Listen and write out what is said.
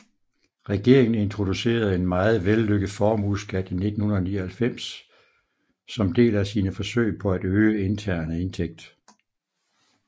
Regeringen introducerede en meget vellykket formueskat i 1999 som del af sine forsøg på at øge interne indtægt